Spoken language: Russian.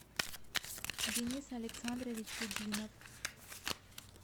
денис александрович кудинов